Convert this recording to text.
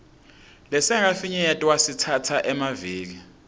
lesingakafinyetwa sitsatsa emaviki